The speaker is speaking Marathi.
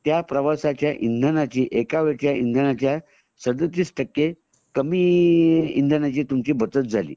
त्या प्रवासाच्या इंधनाची एका वेळ च्या इंधनाच्या सदतीस टक्के तुमची कामी इंधनाची तुमची बचत झाली